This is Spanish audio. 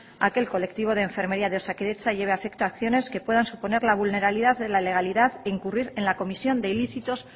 a que el colectivo de enfermería de osakidetza lleve a efecto acciones que puedan suponer la vulnerabilidad de la legalidad e incurrir en la comisión de ilícitos